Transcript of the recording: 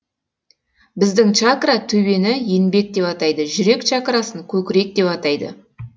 біздің чакра төбені енбек деп атайды жүрек чакрасын көкірек деп атайды